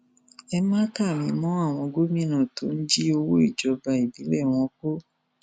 ẹ má kà mí mọ àwọn gómìnà tó ń jí owó ìjọba ìbílẹ wọn kó